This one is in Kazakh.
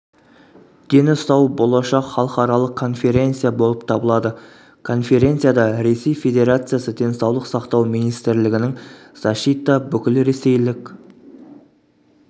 дені сау болашақ халықаралық конференция болып табылады конференцияда ресей федерациясы денсаулық сақтау министрлігінің защита бүкілресейлік